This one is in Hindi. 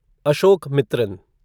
अशोकमित्रन